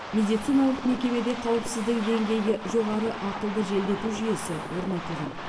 медициналық мекемеде қауіпсіздік деңгейі жоғары ақылды желдету жүйесі орнатылған